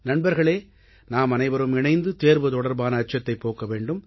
நண்பர்களே நாமனைவரும் இணைந்து தேர்வு தொடர்பான அச்சத்தைப் போக்க வேண்டும்